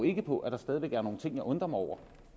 ikke på at der stadig væk er nogle ting jeg undrer mig over